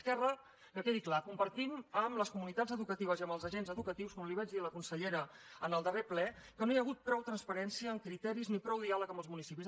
esquerra que quedi clar compartim amb les comunitats educatives i amb els agents educatius com li vaig dir a la consellera en el darrer ple que no hi ha hagut prou transparència en criteris ni prou diàleg amb els municipis